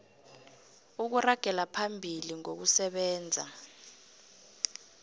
ukuragela phambili ngokusebenza